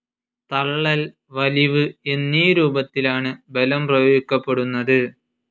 തള്ളൽ, വലിവ് എന്നീ രൂപത്തിലാണ്‌ ബലം പ്രയോഗിക്കപ്പെടുന്നത്.